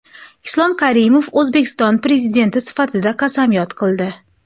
Islom Karimov O‘zbekiston Prezidenti sifatida qasamyod qildi.